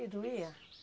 E doía?